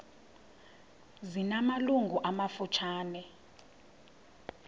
zina malungu amafutshane